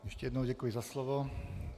Ještě jednou děkuji za slovo.